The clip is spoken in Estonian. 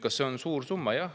Kas see on suur summa?